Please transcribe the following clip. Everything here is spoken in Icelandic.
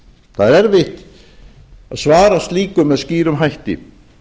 það er erfitt að svara slíku með skýrum hætti